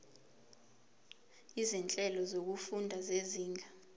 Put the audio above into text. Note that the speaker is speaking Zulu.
izinhlelo zokufunda zezinga